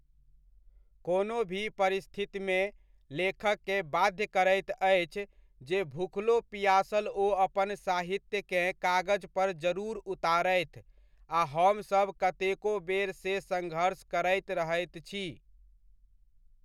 कोनो भी परिस्थितिमे लेखककेॅं बाध्य करैत अछि जे भूखलो पिआसल ओ अपन साहित्यकेँ कागज पर जरूर उतारथि आ हमसभ कतेको बेर से सङ्घर्ष करैत रहैत छी ।